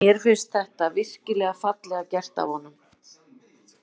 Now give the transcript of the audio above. Mér fannst þetta virkilega fallega gert af honum.